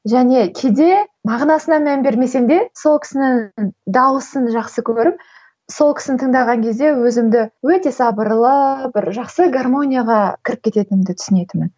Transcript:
және кейде мағынасына мән бермесем де сол кісінің дауысын жақсы көріп сол кісіні тыңдаған кезде өзімді өте сабырлы бір жақсы гармонияға кіріп кететінімді түсінетінмін